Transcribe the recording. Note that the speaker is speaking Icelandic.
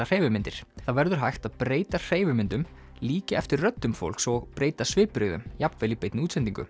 hreyfimyndir það verður hægt að breyta hreyfimyndum líkja eftir röddum fólks og breyta svipbrigðum jafnvel í beinni útsendingu